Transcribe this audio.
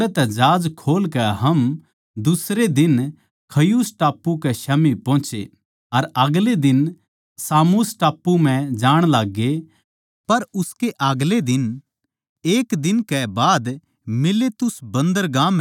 ओड़ै तै जहाज खोल कै हम दुसरे दिन खियुस टापू कै स्याम्ही पोहोचे अर आगलै दिन सामुस टापू म्ह जाण लाग्गे पर उसके अगले एक दिन कै बाद मिलेतुस बन्‍दरगाह म्ह आये